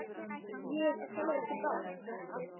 Ég á sjálfur ekki bát.